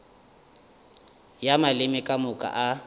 ya maleme ka moka a